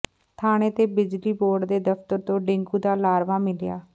ਥਾਣੇ ਤੇ ਬਿਜਲੀ ਬੋਰਡ ਦੇ ਦਫ਼ਤਰ ਤੋਂ ਡੇਂਗੂ ਦਾ ਲਾਰਵਾ ਮਿਲਿਆ